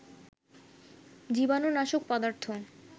জীবানু নাশক পদার্থ